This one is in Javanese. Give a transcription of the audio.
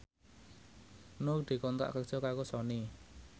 Nur dikontrak kerja karo Sony